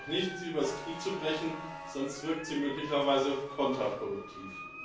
Es hilft jedoch nicht, sie übers Knie zu brechen, sonst wirkt sie möglicherweise kontraproduktiv.